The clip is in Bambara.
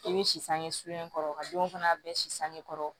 I bɛ si sange sulen kɔrɔ ka denw fana bɛɛ si sange kɔrɔ